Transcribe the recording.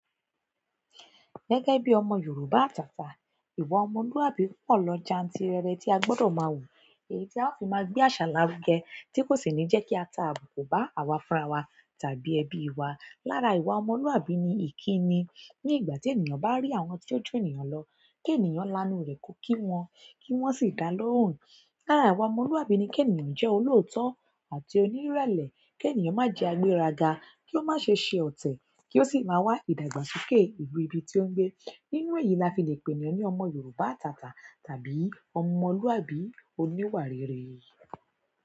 Gẹ́gẹ́ bí ọmọ Yorùbá àtàtà, ìwà ọmọlúwàbí pọ̀ lọ jantirere tí a gbọdọ̀ máa wù, èyí tí a ó fi máa gbé àṣà lárugẹ tí kò sì ní jẹ́ kí a ta àbùkù bá àwa fúnra wa tàbí ẹbí wa. Lára ìwà ọmọlúwàbí ni ìkíni. Ní ìgbà tí ènìyàn bá ri àwọn tí ó junìyàn lọ, kènìyàn lánu rẹ̀ kó kí wọn, kí wọ́n sì dá lóhùn. Lára ìwà ọmọlúwàbí ni kènìyàn jẹ́ olóòótọ́ àti onírẹ̀lẹ̀, kenìyàn má jẹ agbéraga, kí ó má ṣe ṣe ọ̀tẹ̀, kí ó sì máa wá ìdàgbàsókè ìlú ibi tí ó ń gbé. Nínú èyí la fi le pèniyan ni ọmọ Yorùbá àtàtà tàbí ọmọlúwàbí oníwà rere.